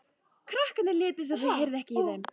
Krakkarnir létu eins og þau heyrðu ekki í þeim.